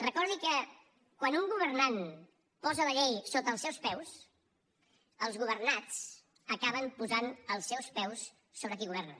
recordi que quan un governant posa la llei sota els seus peus els governats acaben posant els seus peus sobre qui governa